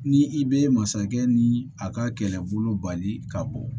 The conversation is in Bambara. Ni i bɛ masakɛ ni a ka kɛlɛbolo bali ka bɔ